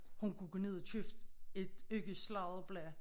Hun kunne gå ned og købe et ugesladderblad